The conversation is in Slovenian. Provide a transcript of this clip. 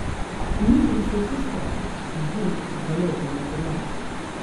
Uničeni so vsi stroji, izdelki, zaloge, material ...